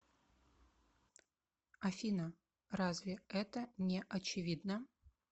афина разве это не очевидно